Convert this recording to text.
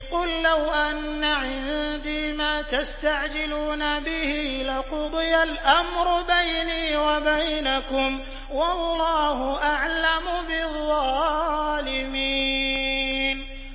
قُل لَّوْ أَنَّ عِندِي مَا تَسْتَعْجِلُونَ بِهِ لَقُضِيَ الْأَمْرُ بَيْنِي وَبَيْنَكُمْ ۗ وَاللَّهُ أَعْلَمُ بِالظَّالِمِينَ